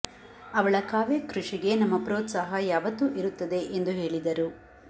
ಅವಳ ಕಾವ್ಯ ಕೃಷಿಗೆ ನಮ್ಮ ಪ್ರೋತ್ಸಾಹ ಯಾವತ್ತು ಇರುತ್ತದೆ ಎಂದು ಹೇಳಿದರು